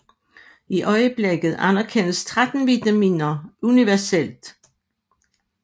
I øjeblikket anerkendes 13 vitaminer universelt